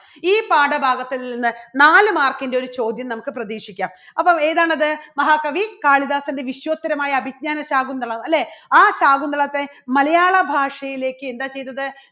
ഈ പാഠഭാഗത്തുനിന്ന് നാല് mark ന്റെ ഒരു ചോദ്യം നമുക്ക് പ്രതീക്ഷിക്കാം. അപ്പോൾ ഏതാണത് മഹാകവി കാളിദാസൻറെ വിശ്വോത്തരമായ അഭിജ്ഞാന ശാകുന്തളം അല്ലേ? ആ ശാകുന്തളത്തെ മലയാള ഭാഷയിലേക്ക് എന്താ ചെയ്തത്